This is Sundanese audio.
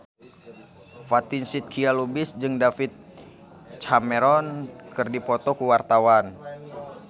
Fatin Shidqia Lubis jeung David Cameron keur dipoto ku wartawan